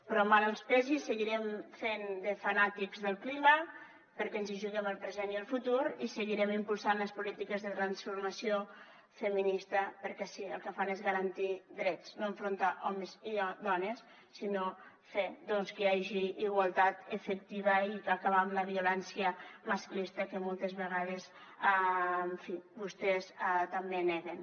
però mal que els pesi seguirem fent de fanàtics del clima perquè ens hi juguem el present i el futur i seguirem impulsant les polítiques de transformació feminista perquè sí el que fan és garantir drets no enfrontar homes i dones sinó fer que hi hagi igualtat efectiva i acabar amb la violència masclista que moltes vegades en fi vostès també neguen